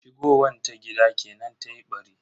Shigowan ta gida kenan tayi ɓari.